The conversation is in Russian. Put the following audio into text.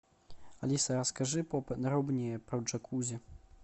алиса расскажи поподробнее про джакузи